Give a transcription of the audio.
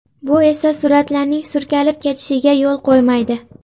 Bu esa suratlarning surkalib ketishiga yo‘l qo‘ymaydi.